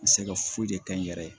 N bɛ se ka foyi de kɛ n yɛrɛ ye